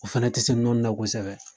O fɛnɛ te se nɔni na kosɛbɛ